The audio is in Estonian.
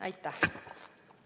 Aitäh!